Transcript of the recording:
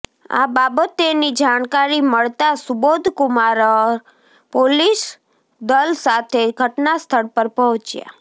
આ બાબતેની જાણકારી મળતા સુબોધ કુમાઅર પોલીસદલ સાથે ઘટનાસ્થળ પર પહોંચ્યા